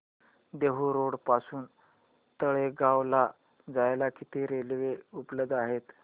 Dehu road पासून तळेगाव ला जायला किती रेल्वे उपलब्ध आहेत